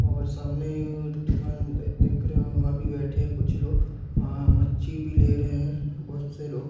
और सामने दुकान देख रहे हो अभी बैठे है कुछ लोग और मच्छी भी ले रहे हैं बहुत से लोग।